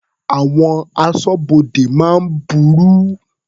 Àwọn aṣọ́bodè máa ń burú.